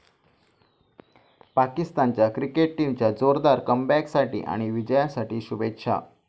पाकिस्तानच्या क्रिकेट टीमच्या जोरदार कमबॅकसाठी आणि विजयासाठी शुभेच्छा.